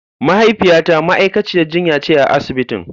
Mahaifiyata ma'aikaciyar jinya ce a asibitin.